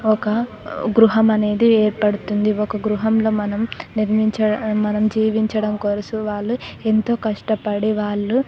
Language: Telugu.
ఒక గృహం అనేది ఏర్పడుతుంది ఒక గృహంలో మనం నిర్మించ మనం జీవించడం కోసం వాళ్ళు ఎంతో కష్టపడి వాళ్ళు --